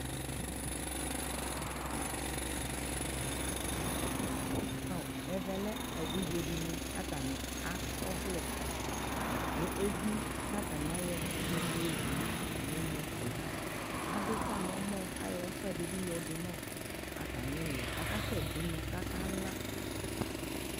Aw ɛvɛ lɛ evidzedi ni kʋ atani akɔvlɛ nʋ evi kʋ atani ayɔ ɛdi mua yowu nʋ atami ɛmɛkʋ yɛ Adufa nʋ ɔmɔ kayɔ ufa ɛdi bi yɔdʋ nʋ atami ɛlʋ yɛ kakasɛ dʋ unɔ kʋ akala